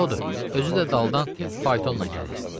Odur, özü də daldan faytonla gəlir.